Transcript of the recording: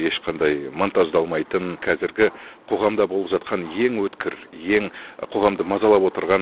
ешқандай монтаждалмайтын қазіргі қоғамда болып жатқан ең өткір ең қоғамды мазалап отырған